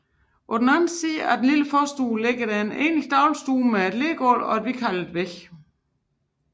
På den anden side af den lille forstue ligger den egentlige dagligstue med lergulv og hvidkalkede vægge